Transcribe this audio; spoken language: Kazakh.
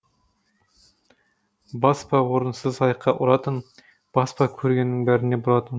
бас па орынсыз аяққа ұратын бас па көргеннің бәріне бұратын